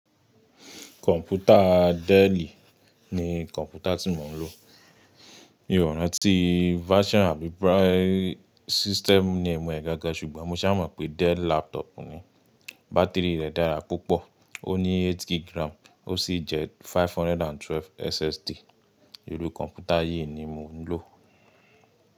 Kọ̀ǹpútà Dell ni kọ̀ǹpútà tí mò ń lò. Mi ò rántí version àbí system name e ẹ́ gángan ṣùgbọ́n mo ṣá mọ̀ pé Dell laptop ni. Bá́tìrì rẹ̀ dára púpọ̀, ó ní 8kg ó sì jẹ́ 512 SSD. Iru kọ̀ǹpútà yìí ni mò ń lò.